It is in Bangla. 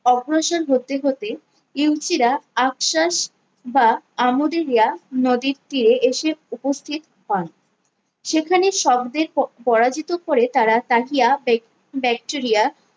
আগ্রসন হতে হতে ইউসিরা আফশাস বা আমুদিভিয়া নদীর তীরে এসে উপস্থিত হন সেখানে শব্দের পো পরাজিত করে তারা তাকিয়া